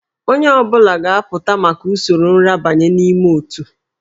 Onye ọ bụla ga-apụta maka usoro nrabanye n'ime òtù